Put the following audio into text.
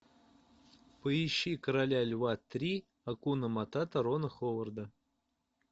поищи короля льва три акуна матата рона ховарда